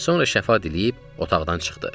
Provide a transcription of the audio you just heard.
Sonra şəfa diləyib, otaqdan çıxdı.